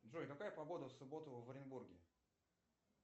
джой какая погода в субботу в оренбурге